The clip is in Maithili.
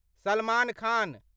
सलमान खान